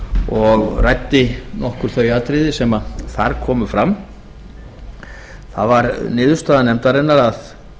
og ræddi nokkur þau atriði sem þar komu fram það var niðurstaða nefndarinnar að